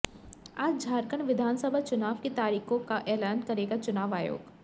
आज झारखंड विधानसभा चुनाव की तारीखों का ऐलान करेगा चुनाव आयोग